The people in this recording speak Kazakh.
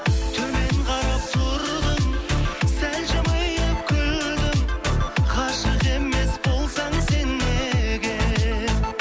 төмен қарап тұрдың сәл жымиып күлдің ғашық емес болсаң сен неге